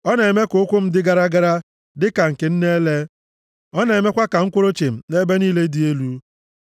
Ọ na-eme ka ụkwụ m dị gara gara, dịka nke nne ele; Ọ na-emekwa ka m kwụrụ chịm nʼebe niile dị elu.